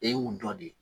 E y'u dɔ de